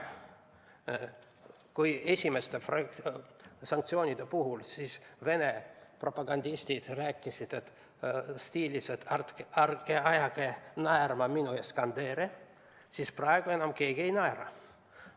Kui esimeste sanktsioonide puhul rääkisid Vene propagandistid stiilis "ärge ajage naerma minu Iskandereid", siis praegu enam keegi ei naera.